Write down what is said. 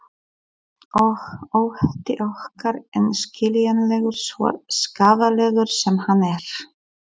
Og ótti okkar er skiljanlegur, svo skaðlegur sem hann er.